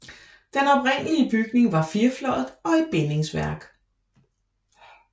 Den oprindelige bygning var firefløjet og i bindingsværk